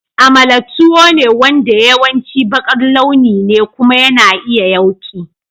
Amala tuwo ne wanda yawanci baƙar launi ne kuma yana iya yawki.